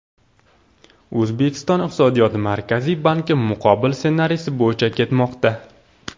O‘zbekiston iqtisodiyoti Markaziy bankning muqobil ssenariysi bo‘yicha ketmoqda.